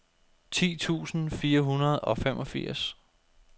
ti tusind fire hundrede og femogfirs